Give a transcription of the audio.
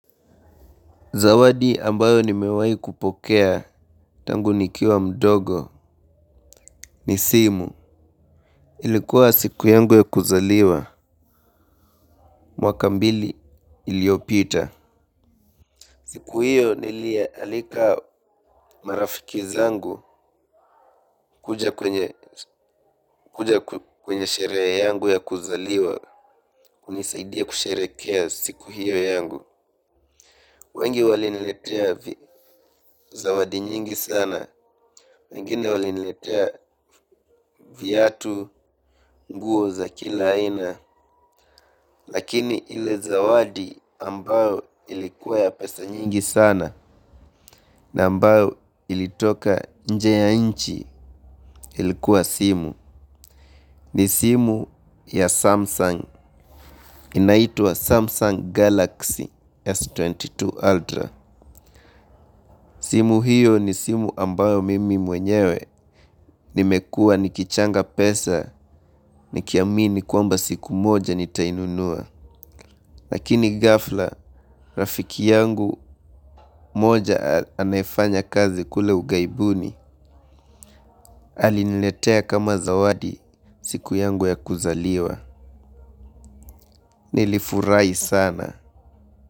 Zawadi ambayo nimewai kupokea tangu nikiwa mdogo ni simu ilikuwa siku yangu ya kuzaliwa mwaka mbili iliopita. Siku hiyo niliyaalika marafiki zangu kuja kwenye sherehe yangu ya kuzaliwa kunisaidia kusherekea siku hiyo yangu. Wengi waliniletea zawadi nyingi sana, wengine waliniletea viatu nguo za kila aina lakini ile zawadi ambayo ilikua ya pesa nyingi sana na ambayo ilitoka nje ya nchi ilikua simu. Ni simu ya Samsung, inaitwa Samsung Galaxy S22 Ultra. Simu hiyo ni simu ambayo mimi mwenyewe, nimekua nikichanga pesa, nikiamini kwamba siku moja nitainunua. Lakini ghafla, rafiki yangu moja anayefanya kazi kule ugaibuni, aliniletea kama zawadi siku yangu ya kuzaliwa. Nilifurai sana.